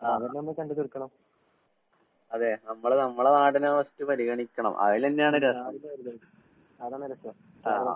ആഹ്. അതെ നമ്മള് നമ്മടെ നാടിനെ ഫസ്റ്റ് പരിഗണിക്കണം. അതിലെന്നെയാണ് രസം. ആഹ് ആഹ്.